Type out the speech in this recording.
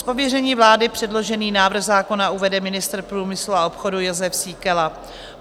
Z pověření vlády předložený návrh zákona uvede ministr průmyslu a obchodu Jozef Síkela.